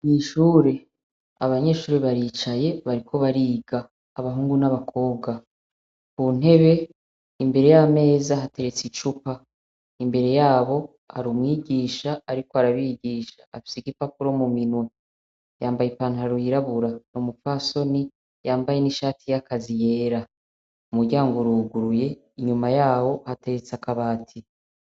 Mwishure abanyeshuri baricaye bariko bariga, abahungu n'abakobwa. Ku ntebe imbere y'ameza hateretse icupa, imbere yabo ari umwigisha ariko arabigisha afise igipapuro mu minwa, yambaye i pantaru yirabura, n' umupfasoni yambaye n'ishati y'akazi yera. Umuryango uruguruye inyuma yawo hateretse akabati.